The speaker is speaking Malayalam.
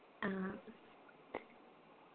ആ